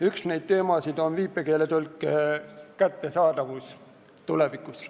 Üks neid teemasid on viipekeeletõlke kättesaadavus tulevikus.